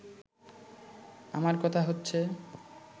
আমার কথা হচ্ছে